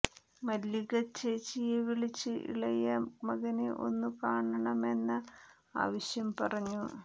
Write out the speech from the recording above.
മല്ലിക ചേച്ചിയെ വിളിച്ച് ഇളയ മകനെ ഒന്നു കാണണമെന്ന ആവശ്യം പറഞ്ഞു